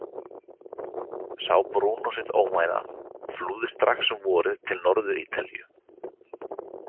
Sá Brúnó sitt óvænna og flúði strax um vorið til Norður-Ítalíu.